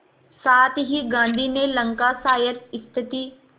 साथ ही गांधी ने लंकाशायर स्थित